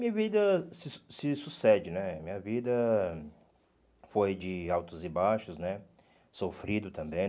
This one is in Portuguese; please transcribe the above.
Minha vida se su se sucede né, minha vida foi de altos e baixos né, sofrido também.